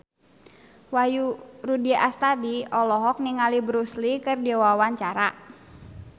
Wahyu Rudi Astadi olohok ningali Bruce Lee keur diwawancara